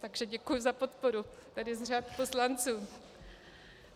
Takže děkuji za podporu tady z řad poslanců.